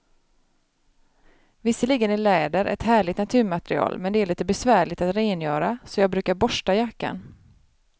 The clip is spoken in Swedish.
Visserligen är läder ett härligt naturmaterial, men det är lite besvärligt att rengöra, så jag brukar borsta jackan.